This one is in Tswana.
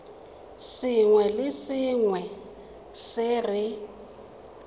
sengwe le sengwe se re